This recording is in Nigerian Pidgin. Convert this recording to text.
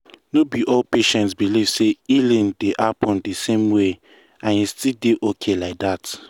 no be all patients believe say healing dey happen the same way and e still dey okay like that.